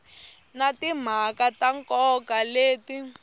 na timhaka ta nkoka leti